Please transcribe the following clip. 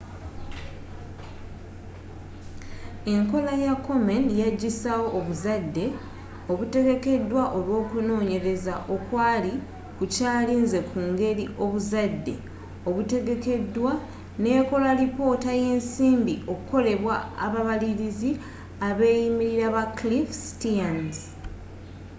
enkola ya komen yagisaawo obuzadde obutegekedwa olwokunonyereza okwali kukyalinze ku ngeri obuzadde obutegekedwa nekola lipoota yensimbi ekolebwa ababaliliz abeyimirira ba cliff stearns